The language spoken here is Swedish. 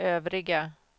övriga